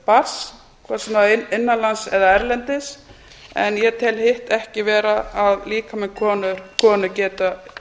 barns hvort sem það er innan lands eða erlendis en ég tel hitt ekki vera að líkami konu geti